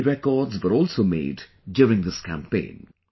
Many records were also made during this campaign